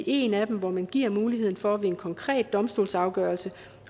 en af dem hvor man giver mulighed for ved en konkret domstolsafgørelse